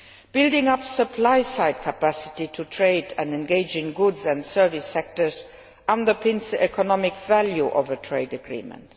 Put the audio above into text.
Building up supply side capacity to trade and engage in goods and service sectors underpins the economic value of a trade agreement.